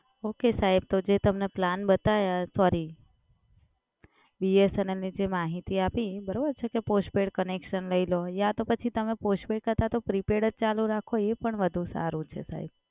Okay સાહેબ તો જે તમને plan બતાયા sorryBSNL ની જે માહિતી આપી, બરોબર છે? કે postpaid connection લઈ લો. યા તો પછી તમે postpaid કરતાં તો prepaid જ ચાલુ રાખો. એ પણ વધુ સારું છે સાહેબ.